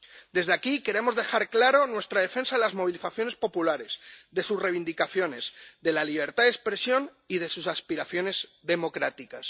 Desde aquí queremos dejar clara nuestra defensa de las movilizaciones populares, de sus reivindicaciones, de la libertad de expresión y de sus aspiraciones democráticas.